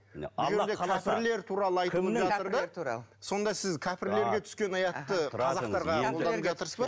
алла қаласа кәпірлер туралы сонда сіз кәпірлерге түскен аятты қазақтарға қолданып жатырсыз ба